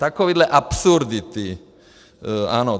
Takovéhle absurdity, ano.